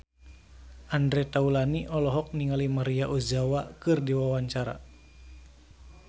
Andre Taulany olohok ningali Maria Ozawa keur diwawancara